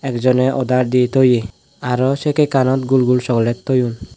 dijoney oder di thoye aro sey cake anot gul gul chocolate thoyun.